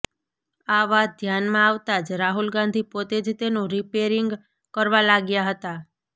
આ વાત ધ્યાનમાં આવતા જ રાહુલ ગાંધી પોતે જ તેનું રિપેરિંગ કરવા લાગ્યા હતાં